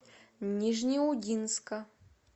нижнеудинска